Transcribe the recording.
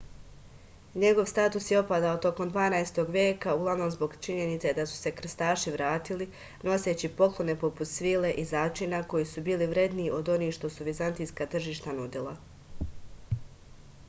njegov status je opadao tokom dvanaestog veka uglavnom zbog činjenice da su se krstaši vratili noseći poklone poput svile i začina koji su bili vredniji od onih što su vizantijska tržišta nudila